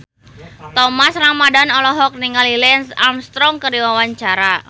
Thomas Ramdhan olohok ningali Lance Armstrong keur diwawancara